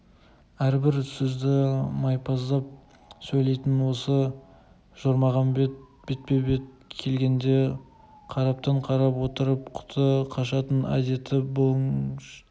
әрбір сөзді майпаздап сөйлейтін осы жорғамен бетпе-бет келгенде қараптан-қарап отырып құты қашатын әдеті бұлыштың